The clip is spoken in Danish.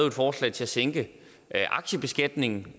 et forslag til at sænke aktiebeskatningen